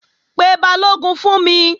Pe Balógun fún mi!